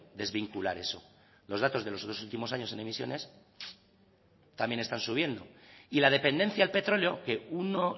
desvincular eso los datos de los dos últimos años en emisiones también están subiendo y la dependencia al petróleo que uno